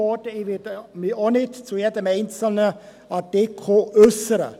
Ich werde mich auch nicht zu jedem einzelnen Artikel äussern.